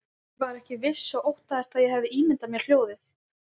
Ég var ekki viss og óttaðist að ég hefði ímyndað mér hljóðið.